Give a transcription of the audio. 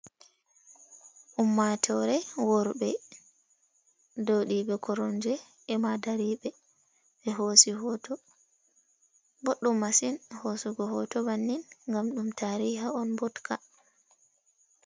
Ummatore worbe joɗiɓe coronge e ma dariɓe, ɓe hosi hoto, boɗdum masin hosugo hoto bannin ngam ɗum tariha on botka.